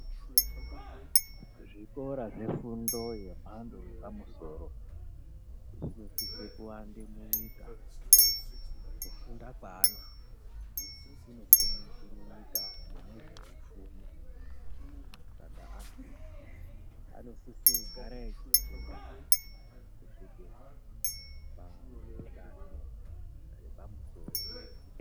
Zvikora zvefundo yemhando yepamusoro zvinosise kuwande munyika. Kufunda kweantu kunosimudzire nyika mune zveupfumi. Saka antu anosise kugara echifunda kusvike padenho repamusoro.